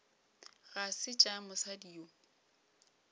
ga se tša mosadi yo